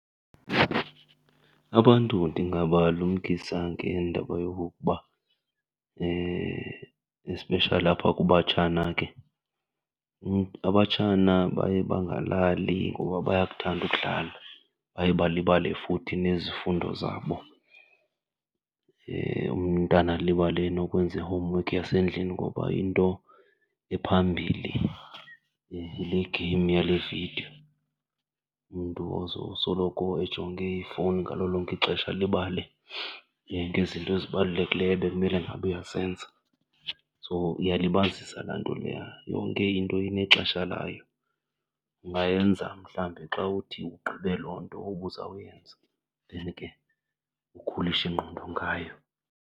Abantu ndingabalumkisa ngendaba yokokuba especially apha kubatshana ke, abatshana baye bangalali ngoba bayakuthanda ukudlala, baye balibale futhi nezifundo zabo. Umntana alibale nokwenza i-homework yasendlini ngoba into ephambilli yile game yale vidiyo. Umntu ozowusoloko ejonge ifowuni ngalo lonke ixesha alibalele ngezinto ezibalulekileyo ebekumele ngabe uyazenza. So iyalibazisa laa nto leya. Yonke into inexesha layo, ungayenza mhlawumbi xa uthi ugqibe loo nto ubuzawuyenza then ke ukhulishe ingqondo ngayo.